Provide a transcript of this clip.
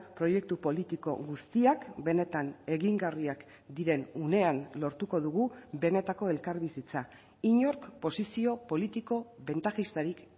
proiektu politiko guztiak benetan egingarriak diren unean lortuko dugu benetako elkarbizitza inork posizio politiko bentajistarik